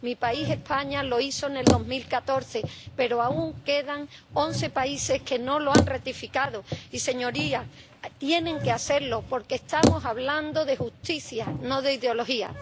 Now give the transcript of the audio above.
Mi país, España, lo hizo en 2014, pero aún quedan once países que no lo han ratificado y, señorías, tienen que hacerlo porque estamos hablando de justicia, no de ideología.